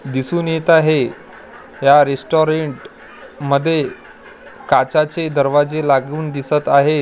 दिसून येत आहे या रेस्टॉरंट मध्ये काचाचे दरवाजे लागून दिसत आहेत.